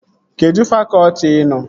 Kedụ fakọtị ị nọ?